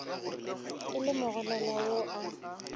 e le mogolelwa yo a